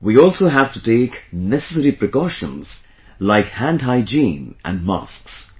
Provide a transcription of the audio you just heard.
We also have to take necessary precautions like hand hygiene and masks